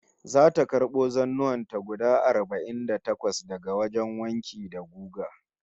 Zata karbo zannuwan ta guda arba'in da takwas daga wajen wanki da guga